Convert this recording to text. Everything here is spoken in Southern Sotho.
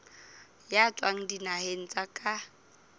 ya tswang dinaheng tsa ka